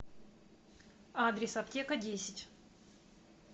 адрес аптека десять